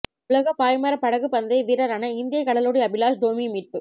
உலக பாய்மரப் படகுப் பந்தய வீரரான இந்திய கடலோடி அபிலாஷ் டோமி மீட்பு